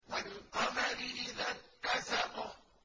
وَالْقَمَرِ إِذَا اتَّسَقَ